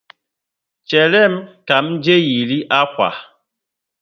Chéré m, ka m jee yiri akwa